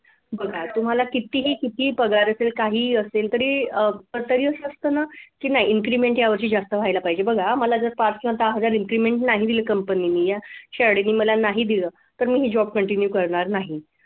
बघा तुम्हाला कितीही किती पगार असेल काही असेल तरी अह पण तरी अस असत ना कि नाही increment या वर्षी जास्त व्हायला पाहिजे बघा मला जर पाच सहा हजार increment नाही दिलं कंपनीने या शाळेने मला नाही दिल तर मी हा job continue करणार नाही